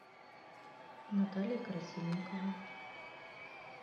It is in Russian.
наталья красильникова